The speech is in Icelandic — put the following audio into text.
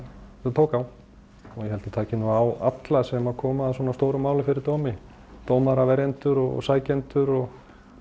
tók á og ég held það taki nú á alla sem koma að svona stóru máli fyrir dómi dómara verjendur og sækjendur og